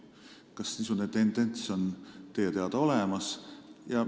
Kas niisugune tendents on teie teada olemas?